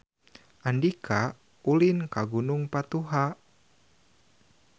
Andika ulin ka Gunung Patuha